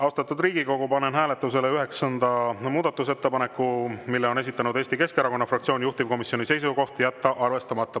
Austatud Riigikogu, panen hääletusele üheksanda muudatusettepaneku, mille on esitanud Eesti Keskerakonna fraktsioon, juhtivkomisjoni seisukoht: jätta arvestamata.